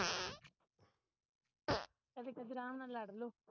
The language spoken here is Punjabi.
ਕਦੀ ਕਦੀ ਰਾਮ ਨਾਲ ਲੜ ਲਗੋ